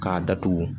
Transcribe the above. K'a datugu